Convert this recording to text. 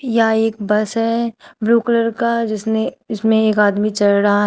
यह एक बस है ब्लू कलर का जिसने जिसमें एक आदमी चढ रहा--